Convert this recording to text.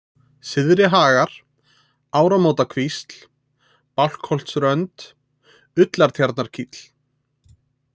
Syðri-Hagar, Ármótakvísl, Bálkholts-Rönd, Ullartjarnarkíll